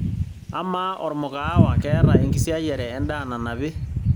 amaa ormukaawa keeta enkisiayiare endaa nanapi